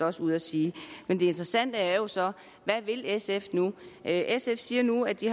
også ude at sige men det interessante er jo så hvad vil sf nu sf siger nu at de